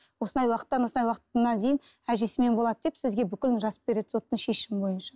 осындай уақыттан осындай уақытына дейін әжесімен болады деп сізге бүкілін жазып береді соттың шешімі бойынша